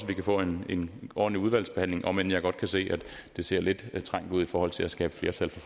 vi kan få en en ordentlig udvalgsbehandling om end jeg godt kan se at det ser lidt trængt ud i forhold til at skabe flertal